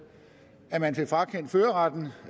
at man fik frakendt førerretten